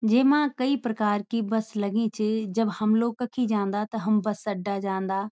जेमा कई प्रकार की बस लगीं च जब हम लोग कखी जांदा त हम बस अड्डा जांदा।